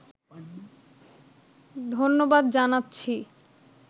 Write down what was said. ধন্যবাদ জানাচ্ছি